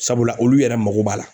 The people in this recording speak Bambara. Sabula olu yɛrɛ mago b'a la.